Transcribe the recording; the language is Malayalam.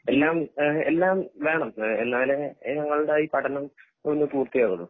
എല്ലാം ആഹ് എല്ലാം വേണം എഹ് എന്നാലേ ഞങ്ങൾടെ ഈ പഠനം ഒന്ന് പൂർത്തിയാകൊള്ളു